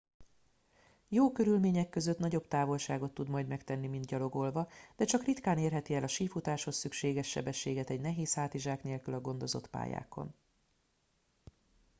jó körülmények között nagyobb távolságot tud majd megtenni mint gyalogolva de csak ritkán érheti el a sífutáshoz szükséges sebességet egy nehéz hátizsák nélkül a gondozott pályákon